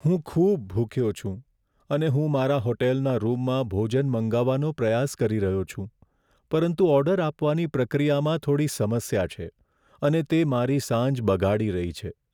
હું ખૂબ ભૂખ્યો છું, અને હું મારા હોટલના રૂમમાં ભોજન મંગાવવાનો પ્રયાસ કરી રહ્યો છું, પરંતુ ઓર્ડર આપવાની પ્રક્રિયામાં થોડી સમસ્યા છે, અને તે મારી સાંજ બગાડી રહી છે.